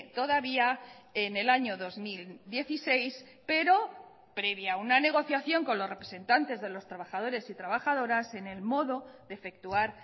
todavía en el año dos mil dieciséis pero previa una negociación con los representantes de los trabajadores y trabajadoras en el modo de efectuar